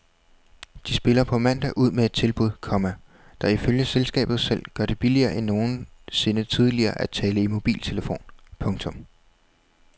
De spiller på mandag ud med et tilbud, komma der ifølge selskabet selv gør det billigere end nogensinde tidligere at tale i mobiltelefon. punktum